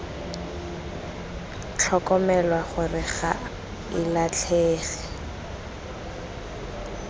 tlhokomelwa gore ga e latlhege